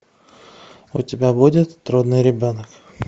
у тебя будет трудный ребенок